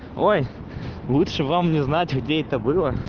ой лучшего вам не знать где это было